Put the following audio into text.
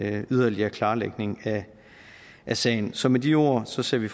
en yderligere klarlægning af sagen så med de ord ser vi